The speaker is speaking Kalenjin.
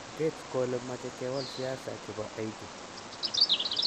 kates kole mache kewal siasa chepo Haiti